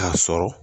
K'a sɔrɔ